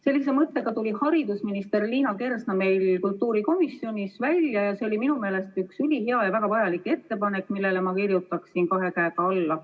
Sellise mõttega tuli haridusminister Liina Kersna meil kultuurikomisjonis välja ja see oli minu meelest üks ülihea ja väga vajalik ettepanek, millele ma kirjutaksin kahe käega alla.